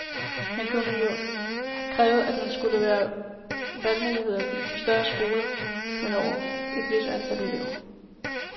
Man kunne jo have krævet, at der skulle være valgmulighed på større skoler med over et vist antal elever.